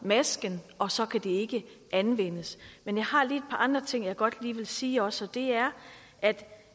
masken og så kan den ikke anvendes men jeg har lige et andre ting jeg godt vil sige også og det er at